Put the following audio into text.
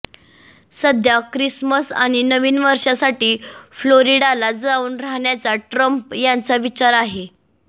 सध्या क्रिसमस आणि नवीन वर्षासाठी फ्लोरिडाला जाऊन राहण्याचा ट्रम्प यांचा विचार आहे